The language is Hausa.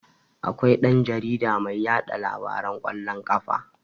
Akwai dan-jarida mai yaɗa labaran kwallon ƙafa.